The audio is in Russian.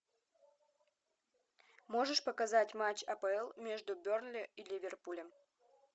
можешь показать матч апл между бернли и ливерпулем